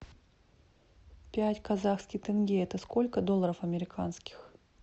пять казахских тенге это сколько долларов американских